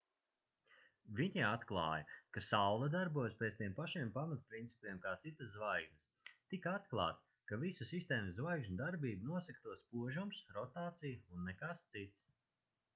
viņi atklāja ka saule darbojas pēc tiem pašiem pamatprincipiem kā citas zvaigznes tika atklāts ka visu sistēmas zvaigžņu darbību nosaka to spožums rotācija un nekas cits